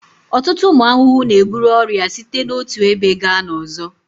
Ọtụtụ ụmụ ahụhụ na-eburu ọrịa site n'otu ebe gaa n'ọzọ